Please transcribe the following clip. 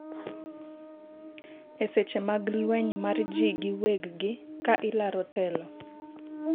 eseche mag lweny mar ji gi wegi ka ilaro telo